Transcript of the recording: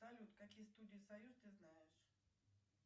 салют какие студии союз ты знаешь